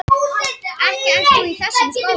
Ekki ert þú í þessum skóla?